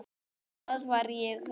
Hvað var að þér?